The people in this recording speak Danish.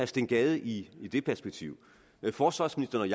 steen gade i i det perspektiv forsvarsministeren